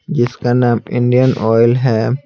जिसका नाम Indian oil है।